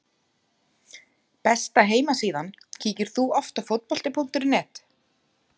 Besta heimasíðan Kíkir þú oft á Fótbolti.net?